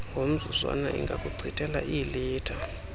ngomzuzwana ingakuchithela iilitha